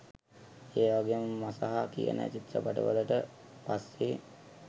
ඒවගේ මසහ කියන චිත්‍රපටි වලට පස්සේ